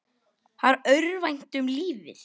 Hann örvænti um lífið.